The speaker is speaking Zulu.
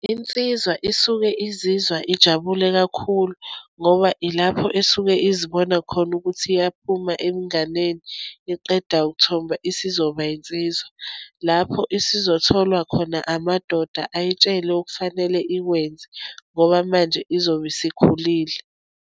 Insizwa isuke izizwa ijabule kakhulu, ngoba ilapho esuke izibona khona ukuthi iyaphuma ebunganeni, iqeda ukuthomba, isizoba yinsizwa, lapho isizotholwa khona amadoda, ayitshele okufanele ikwenze, ngoba manje izobe isikhulile.